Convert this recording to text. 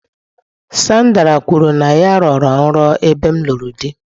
Sandra kwuru na ya rọrọ nrọ ebe m lụrụ di.